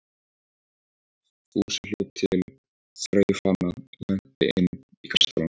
Fúsi hljóp til, þreif hana og henti inn í kastalann.